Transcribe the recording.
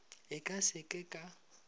e ka se ke ka